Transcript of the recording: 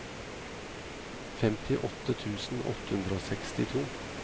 femtiåtte tusen åtte hundre og sekstito